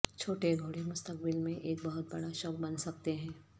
چھوٹے گھوڑے مستقبل میں ایک بہت بڑا شوق بن سکتے ہیں